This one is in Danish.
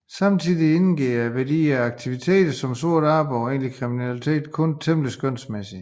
Samtidig indgår værdien af aktiviteter som sort arbejde og egentlig kriminalitet kun temmelig skønsmæssigt